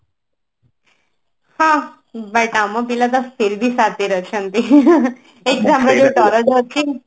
ହଁ but ଆମ ପିଲା ତ ଫିରଭି ସାତିର ଅଛନ୍ତି